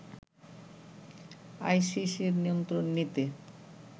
আইসিসির নিয়ন্ত্রণ নিতে